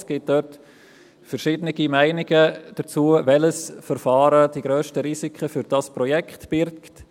Es gibt dort unterschiedliche Meinungen zur Frage, welches Verfahren die grössten Risiken für dieses Projekt birgt.